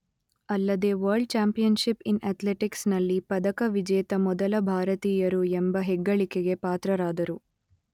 ಅಲ್ಲದೇ world championships in ಅಥ್ಲೆಟಿಕ್ಸ್‌ನಲ್ಲಿ ಪದಕ ವಿಜೇತ ಮೊದಲ ಭಾರತೀಯರು ಎಂಬ ಹೆಗ್ಗಳಿಕೆಗೆ ಪಾತ್ರರಾದರು.